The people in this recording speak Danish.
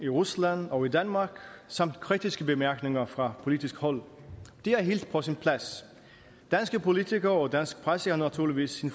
rusland og danmark samt kritiske bemærkninger fra politisk hold det er helt på sin plads danske politikere og dansk presse er naturligvis i